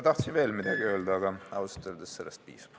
Tahtsin veel midagi öelda, aga ausalt öeldes sellest piisab.